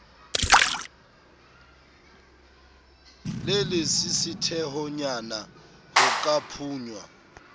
le lesisithehonyana ho ka phunya